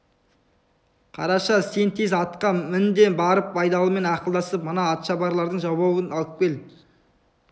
қараша сен тез атқа мін де барып байдалымен ақылдасып мына атшабарлардың жауабын алып кел